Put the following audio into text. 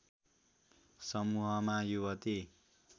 समूहमा युवती